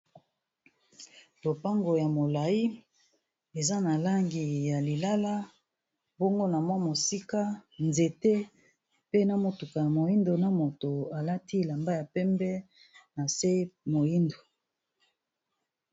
Lopango ya molayi eza na langi ya lilala bongo na mwa mosika nzete pe na motuka ya moyindo na moto alati elamba ya pembe na se moyindo.